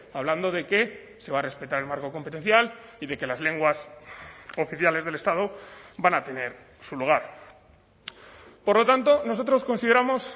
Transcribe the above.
hablando de que se va a respetar el marco competencial y de que las lenguas oficiales del estado van a tener su lugar por lo tanto nosotros consideramos